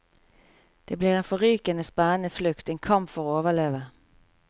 Det blir en forrykende spennende flukt, en kamp for å overleve.